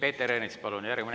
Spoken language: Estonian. Peeter Ernits, palun!